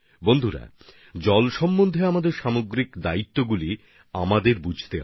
বন্ধুগণ এভাবেই জল নিয়ে আমাদের সর্বজনীন দায়বদ্ধতার বিষয়টি উপলব্ধি করতে হবে